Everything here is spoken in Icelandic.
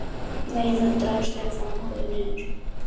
Nei muldraði Stefán og horfði niður.